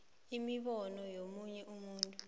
imibono yomunye umuntu